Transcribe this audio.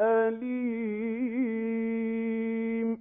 أَلِيمٌ